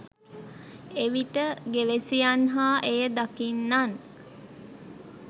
එවිට ගෙවැසියන් හා එය දකින්නන්